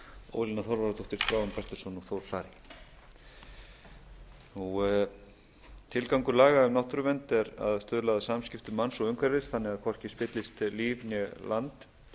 ólína þorvarðardóttir þráinn bertelsson og þór saari tilgangur laga um náttúruvernd er að stuðla að samskiptum manns og umhverfis þannig að hvorki spillist líf né land